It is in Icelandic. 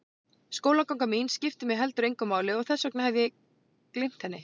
Skólaganga mín skiptir mig heldur engu máli og þess vegna hef ég gleymt henni.